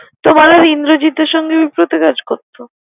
তোমার আর ইন্দ্রজিতের সংকে মিফ ফ্রতে কাজ করতো।